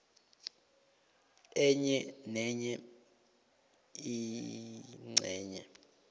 enye nenye ingcenye